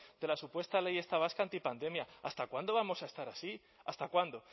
de la supuesta ley esta vasca antipandemia hasta cuándo vamos a estar así hasta cuándo